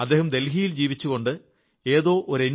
അദ്ദേഹം ദില്ലിയിൽ ജീവിച്ചുകൊണ്ട് ഏതോ എൻ